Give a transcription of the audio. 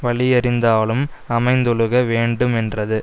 வலியறிந்தாலும் அமைந்தொழுக வேண்டுமென்றது